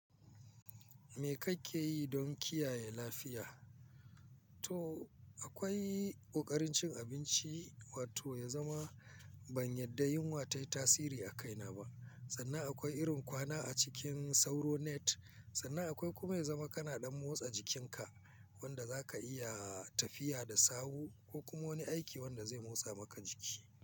Me kake yi don kiyaye lafiya to akwai ƙoƙarin cin abinci, wato ya zama ban yarda yunwa ta yi tasiri a kaina ba. Sannan akwai irin kwana a cikin sauro net, sannan akwai kuma ya zama kana ɗan motsa jikinka, wanda za ka iya tafiya da sawu ko kuma wani aiki wanda zai motsa maka jiki.